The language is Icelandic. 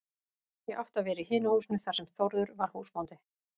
Ég átti að vera í hinu húsinu þar sem Þórður var húsbóndi.